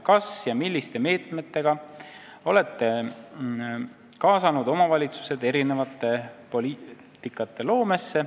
Kas ja milliste meetmega olete kaasanud omavalitsused erinevate poliitikate loomesse?